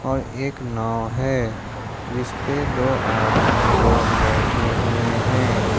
और एक नाव है जिस पे दो आदमी लोग बैठे हुए हैं।